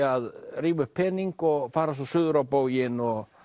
að rífa upp pening og fara svo suður á bóginn og